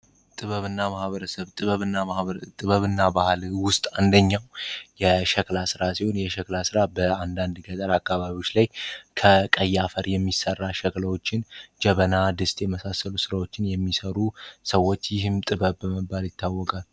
ጥበብና ህበረብጥበብ እና ባህል ውስጥ አንደኛው የሸክላ ሥራ ሲሆን የሸክላ ሥራ በአንዳንድ ገጠር አካባቢዎች ላይ ከቀይ አፈር የሚሰራ ሸክላዎችን ጀበና ድስት የመሳሰሉ ሥራዎችን የሚሰሩ ሰዎች ይህም ጥበብ በመባል ይታወቃል።